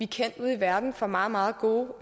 kendt ude i verden for meget meget gode